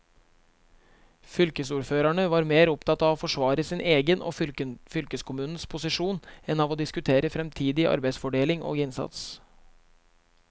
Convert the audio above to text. Fylkesordførerne var mer opptatt av å forsvare sin egen og fylkeskommunens posisjon enn av å diskutere fremtidig arbeidsfordeling og innsats.